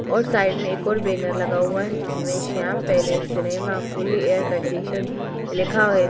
और साइड में एक और बैनर लगा हुआ है जिसमें Shyam palace cinema fully air conditioned लिखा है।